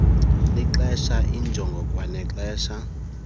lixela iinjongo kwanexesha